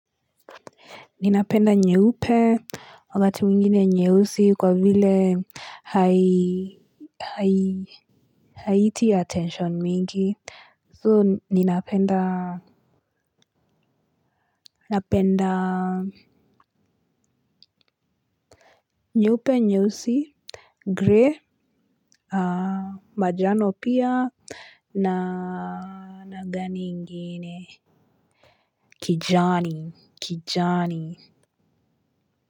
Ninapenda nyeupe wakati mwingine nyeusi kwa vile haiti ya attention mingi. So ninapenda nyeupe nyeusi. Gray, majano pia na nagani ingine. Kijani, kijani.